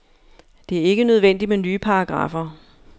Det er ikke nødvendigt med nye paragraffer.